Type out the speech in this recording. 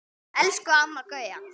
Elsku Amma Gauja.